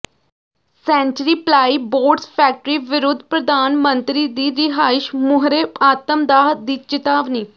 sanctuary Plyboards factory ਵਿਰੁੱਧ ਪ੍ਰਧਾਨ ਮੰਤਰੀ ਦੀ ਰਿਹਾਇਸ਼ ਮੂਹਰੇ ਆਤਮਦਾਹ ਦੀ ਚਿਤਾਵਨੀ